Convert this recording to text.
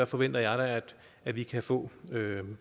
forventer jeg da at vi kan få